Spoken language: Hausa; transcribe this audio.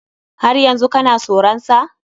Har yanzu kana soran sa?